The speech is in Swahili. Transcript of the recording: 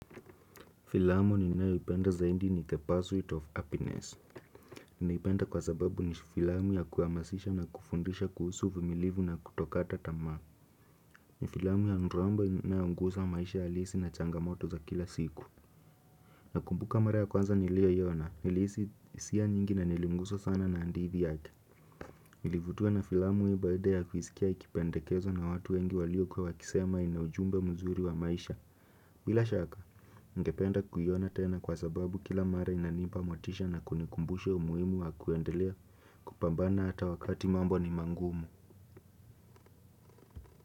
Filamu nininayoipenda zaidi ni the pursuit of happiness. Ninaipenda kwa sababu ni filamu ya kuhamasisha na kufundisha kuhusu uvumilivu na kutokata tamaa. Ni filamu ya nrombo inayogusa maisha halisi na changamoto za kila siku. Nakumbuka mara ya kwanza niliyoiona nilihisi hisia nyingi na niliguswa sana na hadithi yake. Nilivutiwa na filamu hii baada ya kuisikia ikipendekezwa na watu wengi walio kuwa wakisema ina ujumbe mzuri wa maisha. Bila shaka, ningependa kuiona tena kwa sababu kila mare inanipa motisha na kunikumbusha umuhimu wa kuendelea kupambana hata wakati mambo ni magumu.